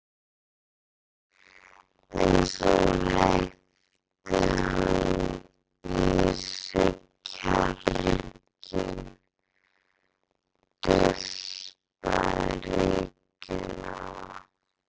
En svo hleypti hann í sig kjarki, dustaði rykið af